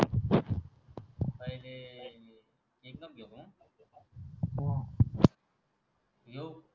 घेऊ